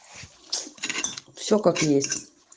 всё как есть